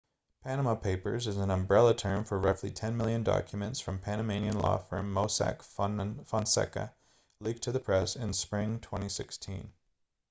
panama papers is an umbrella term for roughly ten million documents from panamanian law firm mossack fonseca leaked to the press in spring 2016